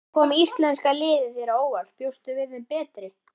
Kom íslenska liðið þér á óvart, bjóstu við þeim betri?